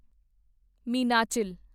Meenachil